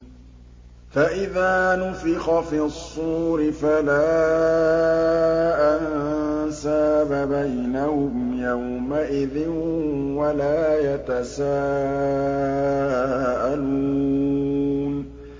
فَإِذَا نُفِخَ فِي الصُّورِ فَلَا أَنسَابَ بَيْنَهُمْ يَوْمَئِذٍ وَلَا يَتَسَاءَلُونَ